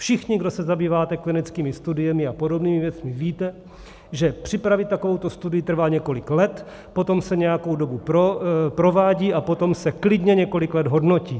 Všichni, kdo se zabýváte klinickými studiemi a podobnými věcmi, víte, že připravit takovouto studii trvá několik let, potom se nějakou dobu provádí a potom se klidně několik let hodnotí.